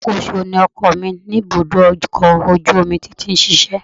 Alákòóso ni ọkọ mi ní ibùdó ọkọ̀ ojú omi tó ti ń ṣiṣẹ́